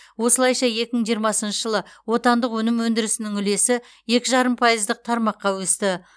осылайша екі мың жиырмасыншы жылы отандық өнім өндірісінің үлесі екі жарым пайыздық тармаққа өсті